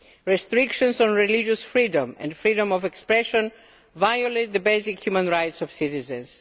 Restrictions on religious freedom and freedom of expression violate the basic human rights of citizens.